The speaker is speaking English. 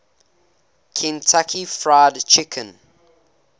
kentucky fried chicken